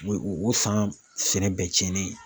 O o san sɛnɛ bɛɛ tiɲɛnnen ye.